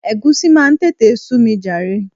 Egusi máa ń tètè sú mi jàre.